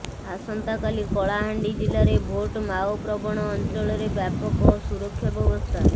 ଆସନ୍ତାକାଲି କଳାହାଣ୍ଡି ଜିଲ୍ଲାରେ ଭୋଟ୍ ମାଓପ୍ରବଣ ଅଞ୍ଚଳରେ ବ୍ୟାପକ ସୁରକ୍ଷା ବ୍ୟବସ୍ଥା